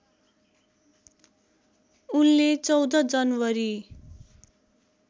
उनले १४ जनवरी